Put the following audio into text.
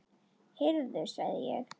Heyrðu sagði ég.